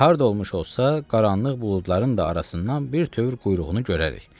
Və harda olmuş olsa, qaranlıq buludların da arasından bir tövr quyruğunu görərik.